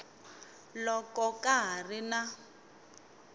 loko ka ha ri na